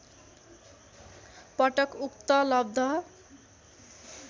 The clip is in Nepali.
पटक उक्त लब्ध